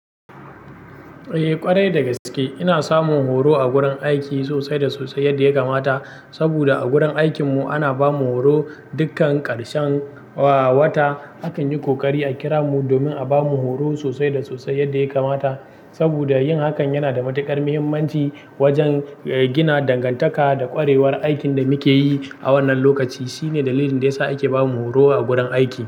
Eh ƙwarai da gaske ina samun horo a gurin aiki sosai da sosai yadda ya kamata. Saboda a gurin aikin mu ana bamu horo dukkan karshenwa wata akan yi kokari a kira mu domin a bamu horo sosai da sosai yadda ya kamata. Saboda yin hakan yana da matuƙar muhimmanci wajen gina dangantaka da ƙwarewar aikin da muke yi a wannan lokaci. Shine dalilin da ya sa ake bamu horo a gurin aiki.